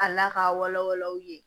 A la k'a wala wala aw ye